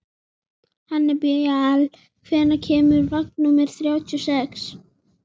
Hannibal, hvenær kemur vagn númer þrjátíu og sex?